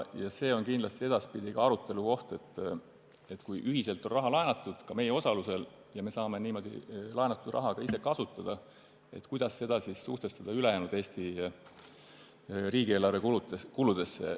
See on edaspidi kindlasti arutelukoht, et kui raha on ühiselt laenatud, ka meie osalusel, ja me saame niimoodi laenatud raha ka ise kasutada, siis kuidas suhestada seda ülejäänud Eesti riigieelarve kuludega.